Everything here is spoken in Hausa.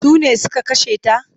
Sune suka kashe ta?